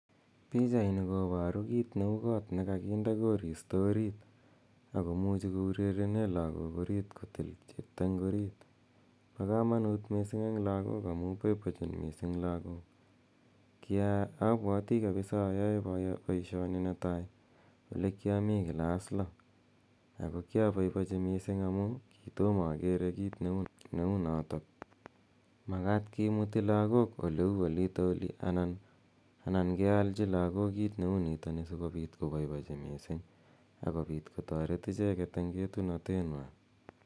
Pichaini kopaeu kiit neu kot ne kakinde korista orit. Ako muchi kourerene lagok oriit kotilda eng' orit. Pa kamanut missing' eng' lagok amu paipachin missing' lagok. Apwati kapisa ayae poishoni ne tai ole kia mi klass lo. Ako kiapaipachi missing' amu ki toma akere kiit ne u notok. Makat kimuti lagok ole u olitali anan kealchi lagok kiit ne u nitani si kopit ko paipachi missing' ako pit kotaret icheget eng' etunatenwa.